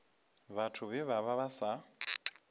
vhathu vhe vha vha sa